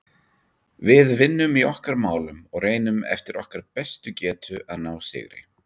Við vinnum í okkar málum og reynum eftir okkar bestu getu að ná sigri.